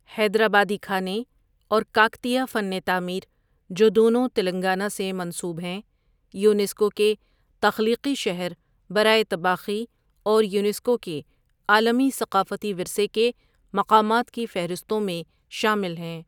حیدرآبادی کھانے اور کاکتیہ فن تعمیر، جو دونوں تلنگانہ سے منسوب ہیں، یونیسکو کے تخلیقی شہر برائے طباخی اور یونیسکو کے عالمی ثقافتی ورثے کے مقامات کی فہرستوں میں شامل ہیں۔